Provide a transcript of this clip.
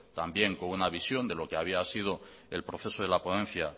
también con una visión de lo que había sido el proceso de la ponencia